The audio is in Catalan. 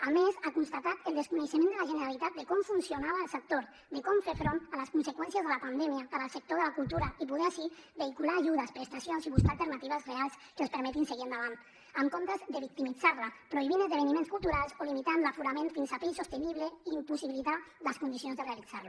a més ha constatat el desconeixement de la generalitat de com funcionava el sector de com fer front a les conseqüències de la pandèmia per al sector de la cultura i poder així vehicular ajudes prestacions i buscar alternatives reals que els permetin seguir endavant en comptes de victimitzar la prohibint esdeveniments culturals o limitant l’aforament fins a fer insostenible i impossibilitar les condicions de realitzar la